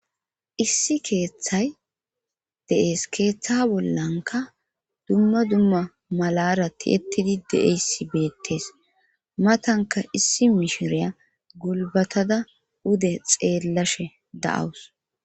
Issi keeththay deees keeththa bollanka dumma dumma malarati ettidi deeyssi beettees matanka issi mishiriya gulbatada ude xeellashe da7awus